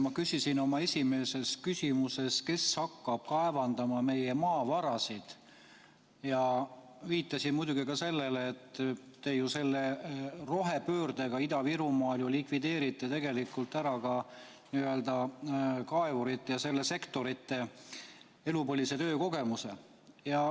Ma küsisin oma esimeses küsimuses, kes hakkab kaevandama meie maavarasid, ja viitasin muidugi ka sellele, et selle rohepöördega Ida-Virumaal te likvideerite tegelikult ju ära ka selle sektori kaevurite elupõlise töökogemuse.